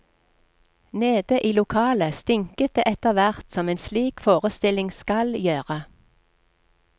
Nede i lokalet stinket det etterhvert som en slik forestilling skal gjøre.